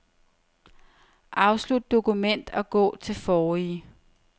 Afslut dokument og gå til forrige.